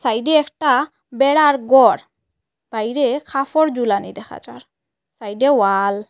সাইডে একটা বেড়ার গর বাইরে খাফর ঝুলানি দেখা যার সাইডে ওয়াল ।